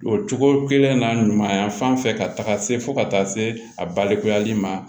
O cogo kelen na ɲumanya fan fɛ ka taga se fo ka taa se a balikuyali ma